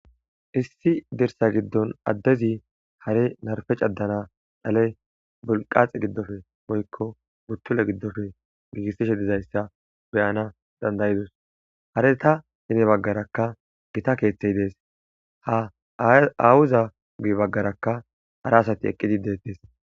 "Issi dirssa giddon addezi ha'i narppe caddana dhale bilqqate giddoppe woykko buttule giddoppe giigisishe dizaysa be'anas danda'adis hareta gede baggaraka gita keethey de'ees ha aawuza guye baggaraka hara asati eqqidi detes."